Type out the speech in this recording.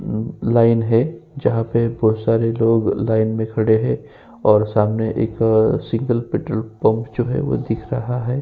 Line है जहां पे बोहोत सारे लोग लाइन में खड़े हैं और सामने एक सिंगल पेट्रोल पंप जो है वो दिख रहा है।